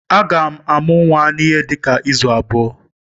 Agam amu nnwa n'ihe dika izu abuo.